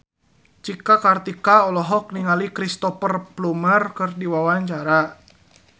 Cika Kartika olohok ningali Cristhoper Plumer keur diwawancara